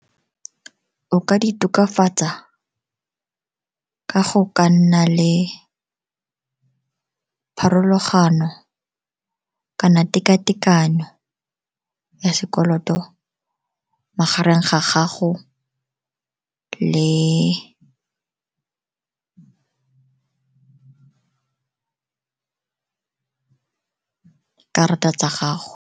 O ka di tokafatsa ka go ka nna le pharologano kana tekatekano ya sekoloto magareng ga gago le karata tsa gago.